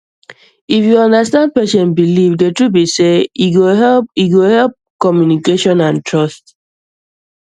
if you understand patient belief the truth be sey e go help e go help communication and trust